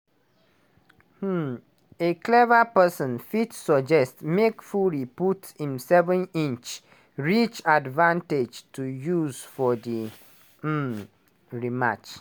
um a clever person fit suggest make fury put im seven-inch reach advantage to use for di um rematch.